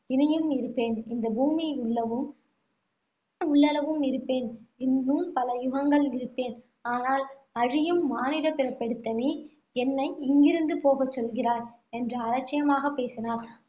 இனியும் இருப்பேன். இந்த பூமி உள்ளவும் உள்ளளவும் இருப்பேன். இன்னும் பல யுகங்கள் இருப்பேன். ஆனால், அழியும் மானிடப்பிறப்பெடுத்த நீ, என்னை இங்கிருந்து போகச் சொல்கிறாய், என்று அலட்சியமாகப் பேசினாள்.